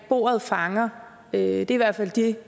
bordet fanger det er i hvert fald det